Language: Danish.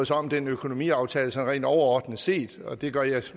sig om den økonomiaftale sådan rent overordnet set og det gør jeg